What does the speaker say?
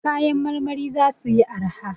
Kayan marmari za suyi arha.